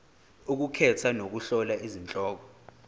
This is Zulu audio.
ukukhetha nokuhlola izihloko